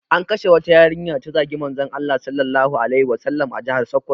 An kashe wata yarinya da ta zagi Manzon Allah Sallallahu alaihi Wasallama a jihar Sokoto